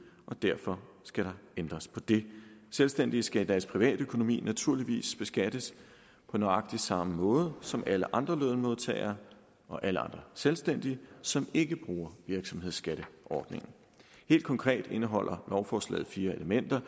og derfor skal der ændres på det selvstændige skal i deres privatøkonomi naturligvis beskattes på nøjagtig samme måde som alle andre lønmodtagere og alle andre selvstændige som ikke bruger virksomhedsskatteordningen helt konkret indeholder lovforslaget fire elementer